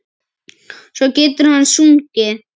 Svo getur hann sungið.